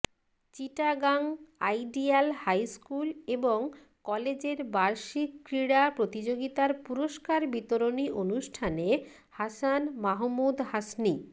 Chittagong ideal high school এবং কলেজের বার্ষিক ক্রীড়া প্রতিযোগিতার পুরস্কার বিতরণী অনুষ্ঠানে হাসান মাহমুদ হাসনী